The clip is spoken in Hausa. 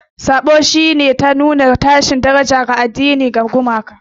Saɓo shi ne harka ta nuna tashin daraja ga imani na addini da gumaka.